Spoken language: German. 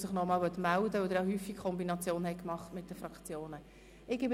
Sie haben ja häufig die Kombination mit den Fraktionsvoten genutzt.